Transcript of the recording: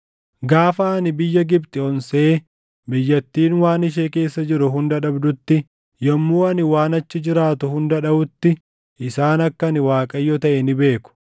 Gaafa ani biyya Gibxi onsee biyyattiin waan ishee keessa jiru hunda dhabdutti, yommuu ani waan achi jiraatu hunda dhaʼutti isaan akka ani Waaqayyo taʼe ni beeku.’